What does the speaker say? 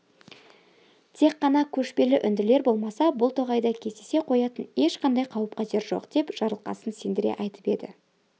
тек қана көшпелі үнділер болмаса бұл тоғайда кездесе қоятын ешқандай қауіп-қатер жоқ деп жарылқасын сендіре айтып еді